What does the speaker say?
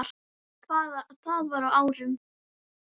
Þetta var á árunum